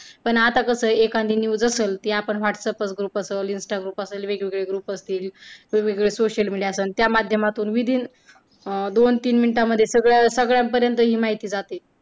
पण आता कसं एखादी news असल, ती आपण whats up वर group असल, insta वर group असल वेगळेवेगळे group असतील वेगळेवेगळे social media च त्या माध्यमातून within अं दोन-तीन minutes मध्ये सगळ्या सगळ्यांपर्यंत ही माहिती जाते.